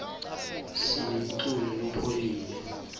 sinemculo lophoule